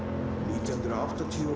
nítján hundruð áttatíu og